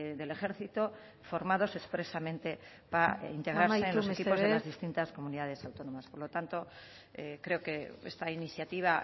del ejército formados expresamente para integrarse en los equipos de las distintas comunidades autónomas por lo tanto creo que esta iniciativa